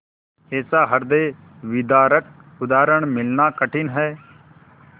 ऐसा हृदयविदारक उदाहरण मिलना कठिन है